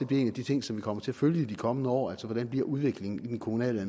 bliver en af de ting som vi kommer til at følge i de kommende år altså hvordan udviklingen i den kommunale